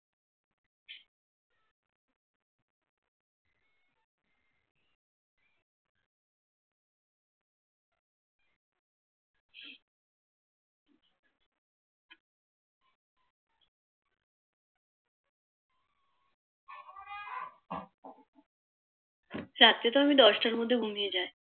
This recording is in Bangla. রাত্রে তো আমি দশটার মধ্যে ঘুমিয়ে যাই